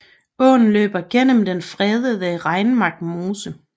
Åen løber gennem den fredede Regnemark Mose